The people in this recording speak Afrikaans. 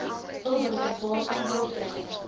hulpbron waarvan boerdery